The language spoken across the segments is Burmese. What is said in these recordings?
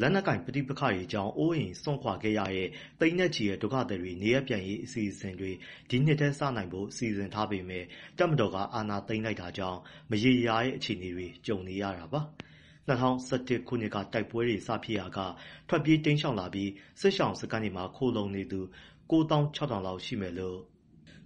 လက်နက်ကိုင် ပဋိပက္ခတွေကြောင့် အိုးအိမ်စွန့်ခွာခဲ့ကြရတဲ့ သိန်းနဲ့ချီတဲ့ ဒုက္ခသည်တွေ နေရပ်ပြန်နိုင်ရေး အစီအစဉ်တွေ ဒီနှစ်ထဲစနိုင်ဖို့ စီစဉ်ထားပေမဲ့ တပ်မတော်က အာဏာသိမ်းလိုက်တာကြောင့် မရေမရာ အခြေအနေတွေ ကြုံနေရတာပါ။ ၂၀၁၁ ခုနှစ်က တိုက်ပွဲတွေ စဖြစ်ရာက ထွက်ပြေးတိမ်းရှောင်လာပြီး စစ်ရှောင်စခန်းတွေမှာ ခိုလှုံနေသူ ၉၆,၀၀၀ လောက်ရှိမယ်လို့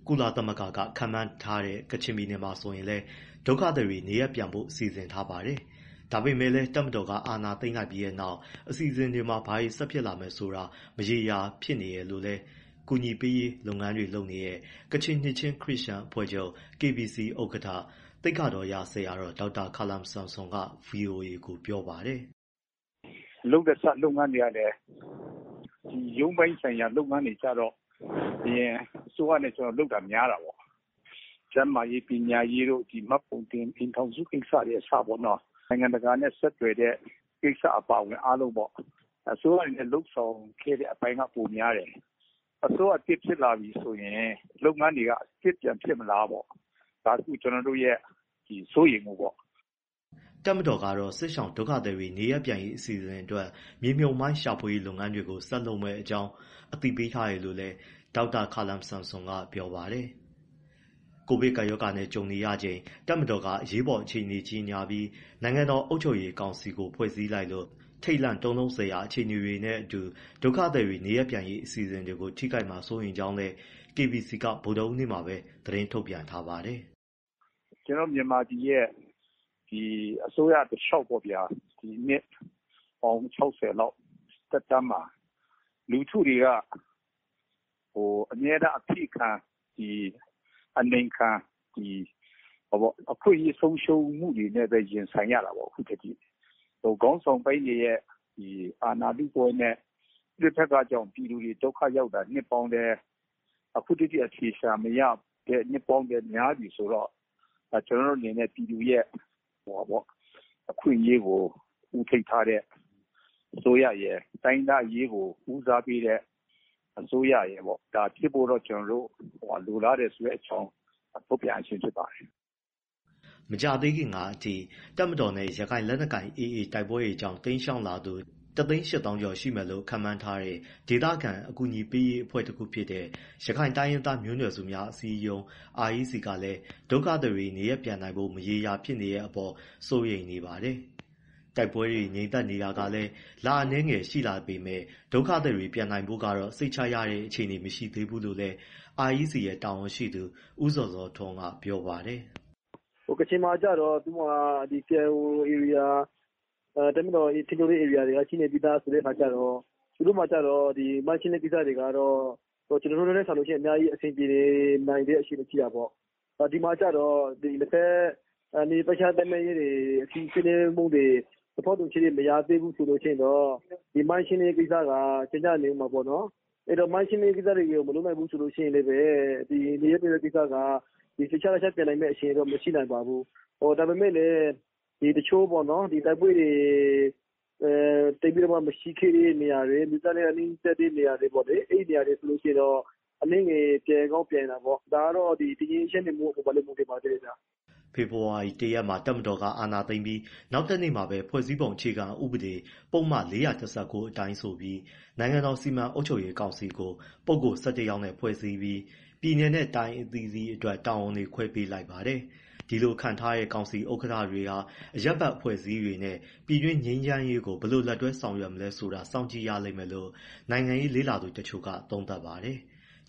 ကုလသမဂ္ဂက ခန့်မှန်းထားတဲ့ ကချင်ပြည်နယ်မှာဆိုရင်လည်း ဒုက္ခသည်တွေ နေရပ်ပြန်ဖို့ စီစဉ်ထားပါတယ်။ ဒါပေမဲ့လည်း တပ်မတော်က အာဏာသိမ်းလိုက်ပြီးနောက် အစီအစဉ်တွေမှာ ဘာတွေဆက်ဖြစ်လာမယ်ဆိုတာ မရေမရာဖြစ်နေတယ်လို့လည်း အကူအညီပေးရေး လုပ်ငန်းတွေလုပ်နေတဲ့ ကချင်နှစ်ချင်း ခရစ်ယာန်အဖွဲ့ချုပ် ဥက္ကဋ္ဌ သိက္ခာတော်ရ ဆရာတော် ဒေါက်တာခါလမ်ဆမ်ဆွမ်က ဗွီအိုအေကို ပြောပါတယ်။ “လုပ်လက်စ လုပ်ငန်းတွေကလည်း ရုံးပိုင်းဆိုင်ရာ လုပ်ငန်းတွေက အရင်အစိုးရနဲ့ ကျနော်လုပ်တာ များတာပေါ့။ ကျန်းမာရေး၊ ပညာရေး၊ မှတ်ပုံတင် ဒီအိမ်ထောင်စုကိစ္စတွေက အစပေါ့နော် နိုင်ငံတကာနဲ့ ဆောင်ရွက်တဲ့ကိစ္စအပါအဝင် အားလုံးပေါ့... အစိုးရတွေနဲ့ လုပ်ဆောင်ခဲ့တဲ့ အပိုင်းက ပိုများတယ်။ အစိုးရသစ် ဖြစ်လာပြီဆိုရင် လုပ်ငန်းတွေက အသစ်ပြန်ဖြစ်မလားပေါ့ ကျနော်တို့ရဲ့ စိုးရိမ်မှုပေါ့။” တပ်မတော်ကတော့ စစ်ရှောင်ဒုက္ခသည်တွေ နေရပ်ပြန်ရေးအစီအစဉ်အတွက် မြေမြှုပ်မှိုင်းရှာဖွေရေး လုပ်ငန်းတွေကို ဆက်လုပ်မယ့်အကြောင်း အသိပေးထားတယ်လို့လည်း ဒေါက်တာခါလမ်ဆမ်ဆွမ်က ပြောပါတယ်။ ကိုဗစ်ကပ်ရောဂါနဲ့ ကြုံနေရချိန် တပ်မတော်က အရေးပေါ်အခြေအနေ ကြေညာပြီး နိုင်ငံတော် အုပ်ချုပ်ရေး ကောင်စီကို ဖွဲ့စည်းလိုက်လို့ ထိတ်လန့်တုန်လှုပ်စရာ အခြေအနေနဲ့အတူ ဒုက္ခသည်တွေ နေရပ်ပြန်ရေး အစီအစဉ်တွေကို ထိခိုက်မှာ စိုးရိမ်ကြောင်းလည်း KBC က ဗုဒ္ဓဟူးနေ့မှာပဲ သတင်းထုတ်ပြန်ထားပါတယ်။ “မြန်မာပြည်ရဲ့ အစိုးရတလျှောက်ပေါ့ဗျာ... နှစ်ပေါင်း ၆၀ လောက်သက်တမ်းမှာ လူထုတွေက အမြဲတမ်း အဖိခံ အနှိပ်ခံ အခွင့်အရေး ဆုံရှုံးမှုတွေနဲ့ ရင်ဆိုင်နေရတာပေါ့။ အခုထက်ထိ။ ခေါင်းဆောင်ပိုင်းတွေရဲ့ အာဏာလုပွဲနဲ့ ပဋိပက္ခကြောင့် ပြည်သူတွေ ဒုက္ခရောက်တာ အခုထက်ထိ အဖြေရှာမရ နှစ်ပေါင်းများပြီဆိုတော့ ကျနော်တို့အနေနဲ့ ပြည်သူတွေရဲ့ အခွင့်အရေးကို ဦးထိပ်ထားတဲ့ အစိုးရရယ်၊ တိုင်းရင်းသားအရေးကို ဦးစားပေးတဲ့ အစိုးရရယ် ဖြစ်ဖို့တော့ လိုလားတယ်ဆိုတဲ့အကြောင်း ထုတ်ပြန်ရခြင်း ဖြစ်ပါတယ်။” မကြာသေးခင်ကအထိ တပ်မတော်နဲ့ ရခိုင်လက်နက်ကိုင် AA တိုက်ပွဲတွေကြောင့် တိမ်းရှောင်လာသူ ၁၈၀,၀၀၀ ကျော် ရှိမယ်လို့ ခန့်မှန်းထားတဲ့ ဒေသခံ အကူအညီပေးရေးအဖွဲ့တခုဖြစ်တဲ့ ရခိုင်တိုင်းရင်းသား မျိုးနွယ်စုများ အစည်းအရုံး REC ကလည်း ဒုက္ခသည်တွေ နေရပ်ပြန်နိုင်ဖို့ မရေမရာ ဖြစ်နေတဲ့အပေါ် စိုးရိမ်နေပါတယ်။ တိုက်ပွဲတွေ ငြိမ်သက်နေတာ လအနည်းငယ် ရှိလာနေပေမဲ့ ဒုက္ခသည်တွေ ပြန်နိုင်ဖို့ကတော့ စိတ်ချရတဲ့အခြေအနေ မရှိသေးဘူးလို့လည်း REC ရဲ့ တာဝန်ရှိသူ ဦးဇော်ဇော်ထွန်းက ပြောပါတယ်။ “ကချင်မှာ KIO ဧရိယာ တပ်တော်ထိန်းချုပ်တဲ့ ဧရိယာက ရှိနေပြီးသားဆိုတော့ မိုင်းရှင်းလင်းရေးကိစ္စတွေက ကျနော်တို့ထက်စာရင် အဆင်ပြေနိုင်တဲ့ အခြေအနေ ရှိတာပေါ့။ ဒီမှာကျတော့ နှစ်ဘက်နယ်မြေပိုင်းခြားသတ်မှတ်မှု ဆွေးနွေးမှုတွေ သဘောတူညီချက် မရသေးဘူး ဆိုရင်တော့ မိုင်းရှင်းလင်းရေး ကိစ္စတွေကို မလုပ်နိုင်သေးဘူး ဆိုရင်လည်း နေရပ်ပြန်ရေးက ကိစ္စက ထူးခြားမယ့်အခြေအနေ မရှိပါဘူး။ ဒါပေမဲ့လည်း တိုက်ပွဲတွေ သိပ်ပြီတော့မှ မရှိခဲ့တဲ့နေရာတွေ ဆိုရင် အနည်းငယ် ပြန်ကောင်း ပြန်နိုင်တာပေါ့။ ဒါကတော့ တည်ငြိမ်အေးချမ်းနိုင်မှုအပေါ်မှာ မူတည်ပါတယ်ခင်ဗျ။” ဖေဖော်ဝါရီ ၁ ရက်မှာ တပ်မတော်က အာဏာသိမ်းပြီး နောက်တနေ့မှာပဲ ဖွဲ့စည်းပုံ အခြေခံဥပဒေ ပုဒ်မ ၄၁၉ အတိုင်းဆိုပြီး နိုင်ငံတော် စီမံအုပ်ချုပ်ရေး ကောင်စီကို ပုဂ္ဂိုလ် ၁၁ ယောက်နဲ့ ဖွဲ့စည်းပြီး ပြည်နယ်နဲ တိုင်းအသီးသီးအတွက် တာဝန်တွေခွဲပေးလိုက်ပါတယ်။ ဒီလိုခန့်ထားလိုက်တဲ့ ကောင်စီဥက္ကဋ္ဌတွေဟာ အရပ်ဘက်အဖွဲ့အစည်းတွေနဲ့ ပြည်တွင်း ငြိမ်းချမ်းရေးကို ဘယ်လို လက်တွဲဆောင်ရွက်မလဲဆိုတာတော့ စောင့်ကြည့်ရလိမ့်မယ်လို့ နိုင်ငံရေးလေ့လာသူ တချို့က သုံးသပ်ပါတယ်။